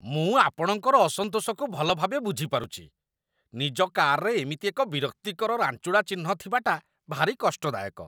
ମୁଁ ଆପଣଙ୍କର ଅସନ୍ତୋଷକୁ ଭଲ ଭାବେ ବୁଝିପାରୁଛି। ନିଜ କାର୍‌ରେ ଏମିତି ଏକ ବିରକ୍ତିକର ରାଞ୍ଚୁଡ଼ା ଚିହ୍ନ ଥିବାଟା ଭାରି କଷ୍ଟଦାୟକ।